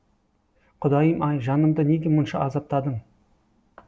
құдайым ай жанымды неге мұнша азаптадың